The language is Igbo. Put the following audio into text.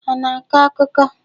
Ha ana akọ akụkọ?